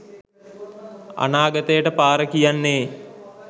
අනාගතයට පාර කියන්නේ.